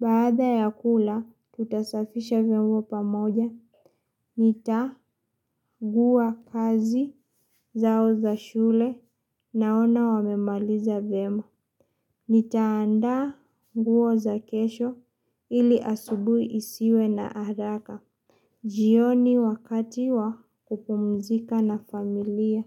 Baada ya kula, tutasafisha vyombo pamoja. Nitakagua kazi zao za shule naona wamemaliza vyema. Nitaanda nguo za kesho ili asubuhi isiwe na haraka. Jioni wakati wa kupumzika na familia.